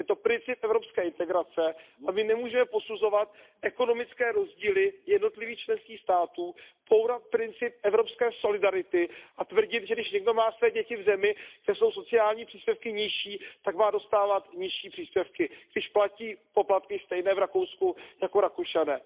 Je to princip evropské integrace a my nemůžeme posuzovat ekonomické rozdíly jednotlivých členských států, bourat princip evropské solidarity a tvrdit, že když někdo má své děti v zemi, kde jsou sociální příspěvky nižší, tak má dostávat nižší příspěvky, když platí poplatky stejné v Rakousku jako Rakušané.